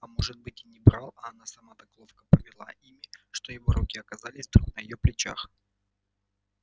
а может быть и не брал а она сама так ловко повела ими что его руки оказались вдруг на её плечах